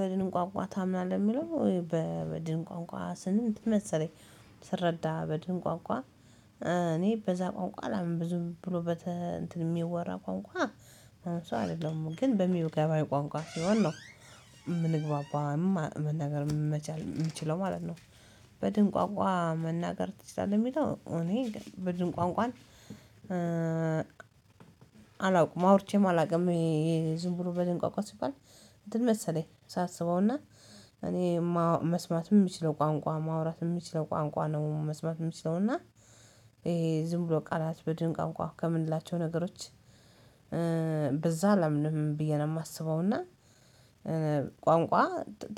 በድንቋንቋ ታምናለህ የሚለው? በድንቋንቋ ስንት መሰለኝ ስረዳ በድንቋንቋ እኔ በዛ ቋንቋ አላምንም ብዙ ብሎ የሚወራ ቋንቋ ስው አይደለም ግን በሚወገባይ ቋንቋ ሲሆን ነው የምንግባባው መናገር መቻል የሚችለው ማለት ነው። በድን ቋንቋ መናገር ትችላለህ የሚለው እኔ ግን በድንቋንቋ አላውቅም ማውርቼም አላውቅም ይሄ ዝም ብሎ በድንቋቋ ሲባል። እንትን መሰለኝ ሳስበውና እኔ መስማትም የሚችለው ቋንቋ ማውራትም የሚችለው ቋንቋ ነው። መስማትም የሚችለውና ይሄ ዝም ብሎ ቃላት በድን ቋንቋ ከምንላቸው ነገሮች። በዛ አላምንም ብዬ ነው የማስበው። እና ቋንቋ